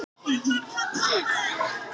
Hún var á öðru máli.